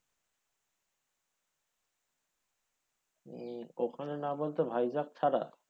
উম ওখানের মধ্যে না ভাইজ্যাক ছাড়া?